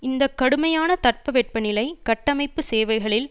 இந்த கடுமையான தட்ப வெப்ப நிலை கட்டமைப்பு சேவைகளில்